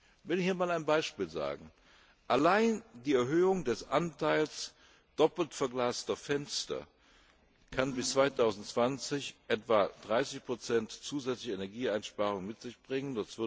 Ich will Ihnen einmal ein Beispiel nennen Allein die Erhöhung des Anteils doppelt verglaster Fenster kann bis 2020 etwa 30 zusätzliche Energieeinsparungen mit sich bringen.